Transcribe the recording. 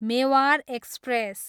Mewar express